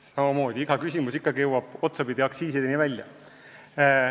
Samamoodi iga küsimus jõuab otsapidi aktsiisideni välja.